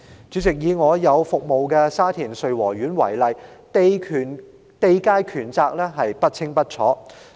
主席，以我服務的沙田穗禾苑為例，地界權責不清不楚。